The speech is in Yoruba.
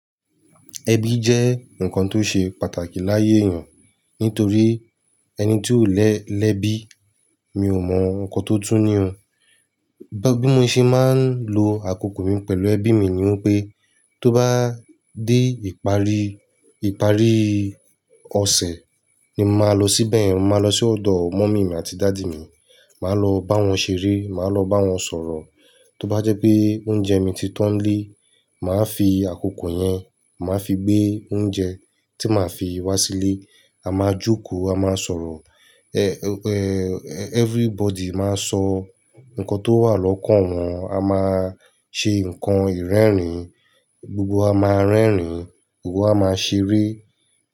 Ẹbí jẹ́ nǹkan tó ṣe pàtàkì láyé èèyàn nítorí ẹni tí ò lẹ lẹ́bí, mi ò mọ nǹkan tó tú ní o. Bí mo ṣe máa ń lo àkókò mi pẹ̀lú ẹbí mi ni wípé tó bá dé ìparí, ìparí ọ̀sẹ̀ ni màá lọ síbẹ̀, màá lọ sí ọ̀dọ̀ mọ́mì mi àti dáádì mi, màá lọ bá wọn ṣeré, màá lọ bá wọn sọ̀rọ̀. Tó bá jẹ́ pé oúnjẹ mi ti tán lé, màá fi àkókò yẹn, màá fi gbé oúnjẹ tí màá fi wá sílé. A máa jókòó, a máa sọ̀rọ̀, everybody máa sọ nǹkan tó wà lọ́kàn wọn, a máa ṣe ǹkan ìrẹ́rìn, gbogbo a máa rẹ́rìn, gbogbo a máa ṣeré.